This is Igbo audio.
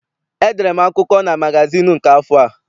Edere m akụkọ na magazịịnụ nke afọ a.